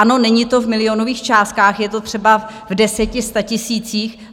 Ano, není to v milionových částkách, je to třeba v deseti-, statisících.